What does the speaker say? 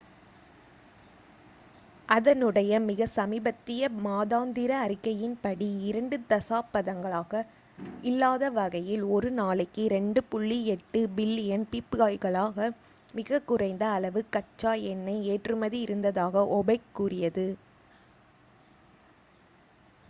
அதனுடைய மிக சமீபத்திய மாதாந்திர அறிக்கையின்படி இரண்டு தசாப்தங்களாக இல்லாதவகையில் ஒரு நாளைக்கு 2.8 பில்லியன் பீப்பாய்களாக மிக குறைந்த அளவு கச்சா எண்ணெய் ஏற்றுமதி இருந்ததாக ஒபேக் கூறியது